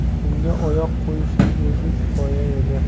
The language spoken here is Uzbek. Unga oyoq qo‘yishning o‘zi kifoya edi.